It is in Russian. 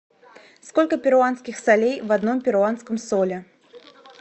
сколько перуанских солей в одном перуанском соле